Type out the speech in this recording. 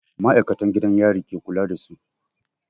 Ma'aikatan gidan yari ke kula da su.